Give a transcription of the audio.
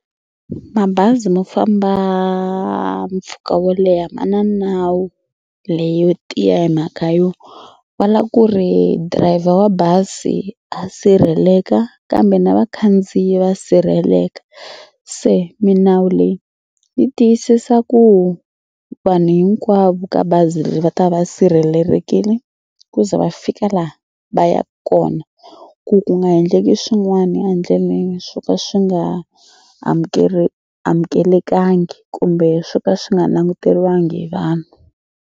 Mabazi mo famba mpfhuka wo leha ma na nawu leyo tiya hi mhaka yo va lava ku ri driver wa bazi a sirheleka kambe na vakhandziyi va sirheleka. Se milawu leyi yi tiyisisa ku vanhu hinkwavo ka bazi leri va ta va va sirhelelekile ku za va fika la va yaka kona ku ku nga endleki swin'wana endleleni swo ka swi nga amukelekangi kumbe swo ka swi nga languteriwangiki hi vanhu.